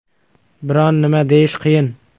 Biron nima deyish qiyin.